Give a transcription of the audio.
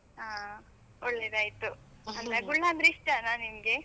ಹಾ, ಒಳ್ಳೆದಾಯ್ತು. ಗುಳ್ಳ ಅಂದ್ರೆ ಇಷ್ಟಾನ ನಿಮ್ಗೆ?